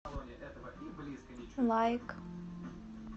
лайк